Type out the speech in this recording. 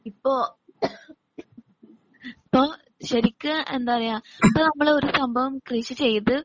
ഇപ്പോ ശരിക്കും എന്താ പറയുക നമ്മള് ഒരു സംഭവം കൃഷി ചെയ്ത്